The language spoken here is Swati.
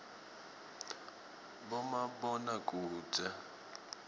bomabonakudze